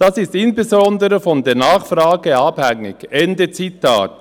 Dies ist insbesondere von der Nachfrage abhängig.» – Ende Zitat.